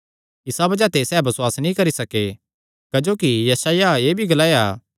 इसा बज़ाह ते सैह़ बसुआस नीं करी सके क्जोकि यशायाह एह़ भी ग्लाया